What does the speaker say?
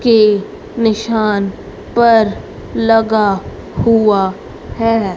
के निशान पर लगा हुआ है।